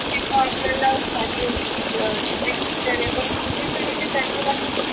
आपल्याला casual अं strict teachers आहे पण खुप कुठे तरी ते त्यांच्या जागेवर